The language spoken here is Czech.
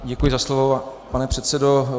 Děkuji za slovo, pane předsedo.